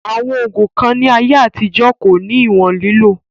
Àwọn ògùn kan ní àyè àtijọ́ kò ní ìwòn lílò